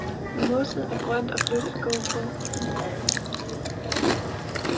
Mosset er grønt og blødt at gå på.